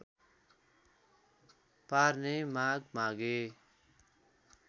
पार्ने माग मागे